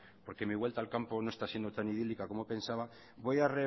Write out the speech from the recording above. porque mi vuelta al campo no está siendo tan idílica como pensaba voy a